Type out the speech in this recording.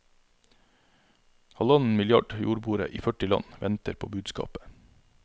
Halvannen milliard jordboere i førti land venter på budskapet.